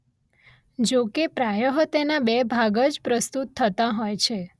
જો કે પ્રાયઃ તેના બે ભાગ જ પ્રસ્તુત થતાં હોય છે